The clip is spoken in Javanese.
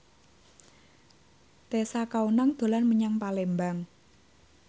Tessa Kaunang dolan menyang Palembang